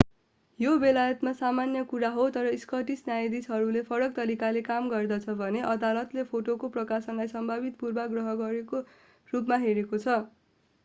यो बेलायतमा सामान्य कुरा हो तर स्कटिश न्यायाधीशले फरक तरिकाले काम गर्दछ भने अदालतले फोटोको प्रकाशनलाई सम्भावित पूर्वाग्रहको रूपमा हेरेको छ